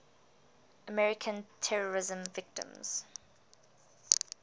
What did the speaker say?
american terrorism victims